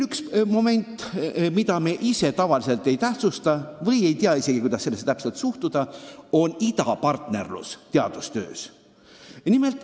Üks moment, mida me ise tavaliselt ei tähtsusta või isegi ei tea, kuidas sellesse üldse suhtuda, on idapartnerlus teadustöös.